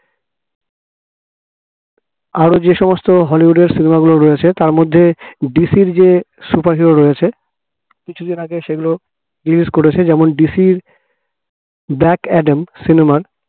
আরো যে সমস্ত হলিউডের cinema গুলো রয়েছে তার মধ্যে DC যে superhero রয়েছে কিছুদিন আগে সেগুলো release করেছে যেমন DC black অ্যাডাম cinema র